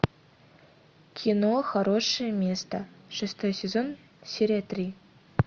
кино хорошее место шестой сезон серия три